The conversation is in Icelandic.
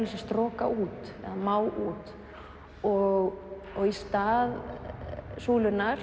þess að stroka út má út og og í stað